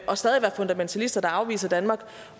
og stadig være fundamentalister der afviser danmark